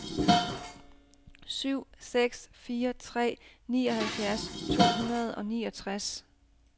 syv seks fire tre nioghalvfjerds to hundrede og niogtres